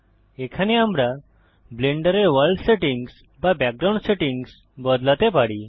এখানে আমরা ব্লেন্ডারের ওয়ার্ল্ড সেটিংস বা ব্যাকগ্রাউন্ড সেটিংস বদলাতে পারি